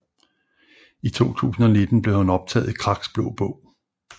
I 2019 blev han optaget i Kraks Blå Bog